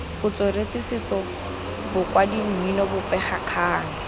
botsweretshi setso bokwadi mmino bobegakgang